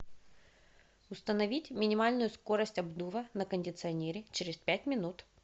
установить минимальную скорость обдува на кондиционере через пять минут